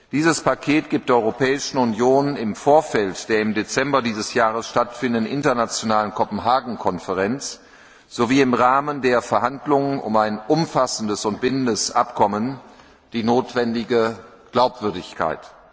Dieses Paket gibt der Europäischen Union im Vorfeld der im Dezember dieses Jahres stattfindenden internationalen Konferenz von Kopenhagen sowie im Rahmen der Verhandlungen über ein umfassendes und bindendes Abkommen die notwendige Glaubwürdigkeit.